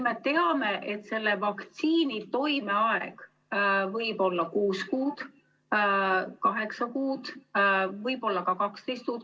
Me teame, et vaktsiini toimeaeg võib olla kuus kuud, kaheksa kuud, võib-olla ka 12 kuud.